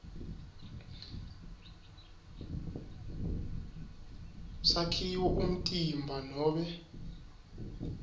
sakhiwo umtimba nobe